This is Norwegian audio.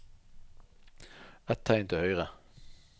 Ett tegn til høyre